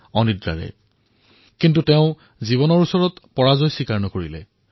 জীৱনত হাৰ নামানি তেওঁ পানীৰ মাজত অনাহাৰে যুঁজি থাকিল